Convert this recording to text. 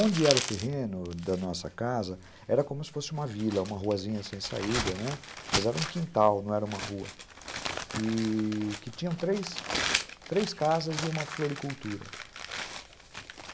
Onde era o terreno da nossa casa era como se fosse uma vila, uma ruazinha sem saída, né, mas era um quintal, e... não era uma rua, que tinha três casas e uma floricultura.